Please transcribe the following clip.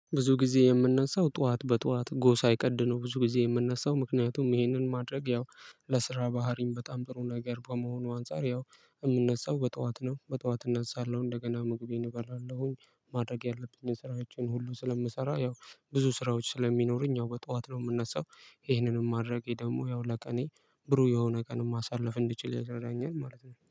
ብዙ ጊዜ የምነሳው ጠዋት በጠዋት ጎሳ ሳይቀድ ነው። ብዙ ጊዜ የምነሳው ምክንያቱም ይሄንን ማድረግ ያው በስራ ባህሪም በጣም ጥሩ ነገር ከመሆኑ አንፃር ያው የምነሳው በጠዋት ነው። በጠዋት እነሳለሁ እንደገና ምግቤን እበላለሁኝ። ማድረግ ያለብኝን ስራዎችን ሁሉ ስለምሰራ ያው ብዙ ስራዎች ስለሚኖሩኝ ያው በጠዋት ነው የምነሳው። ይሄንንም ማድረጌ ደግሞ ያው ለቀኔ ብሩህ የሆነ ቀን ማሳለፍ እንድችል ያደርገኛል ማለት ነው